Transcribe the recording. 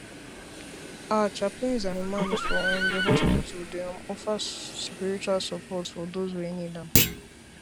ah chaplains and imams for um di hospitals dey um offer spiritual support for doze wey need am